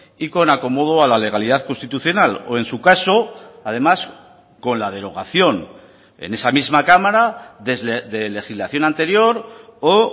y con acomodo a la legalidad constitucional o en su caso además con la derogación en esa misma cámara de legislación anterior o